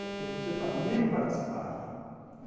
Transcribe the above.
Porque você também participava.